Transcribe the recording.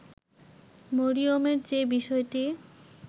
মরিয়মের যে বিষয়টি